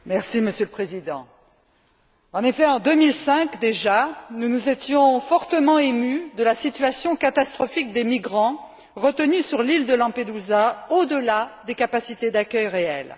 Monsieur le Président, en 2005 déjà, nous nous étions fortement émus de la situation catastrophique des migrants retenus sur l'île de Lampedusa, au delà des capacités d'accueil réelles.